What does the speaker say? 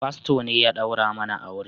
Fasto ne ya daura mana aure